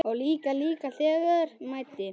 Og líka þegar á mæddi.